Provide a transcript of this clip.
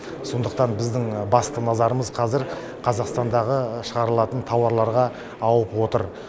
сондықтан біздің басты назарымыз қазір қазақстандағы шығарылатын тауарларға ауып отыр